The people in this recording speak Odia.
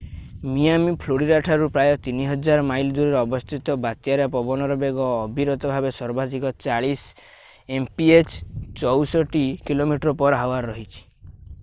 ମିଆମି ଫ୍ଲୋରିଡା ଠାରୁ ପ୍ରାୟ 3000 ମାଇଲ ଦୂରରେ ଅବସ୍ଥିତ ବାତ୍ୟାରେ ପବନର ବେଗ ଅବିରତ ଭାବେ ସର୍ବାଧିକ 40 mph 64 kph ରହିଛି।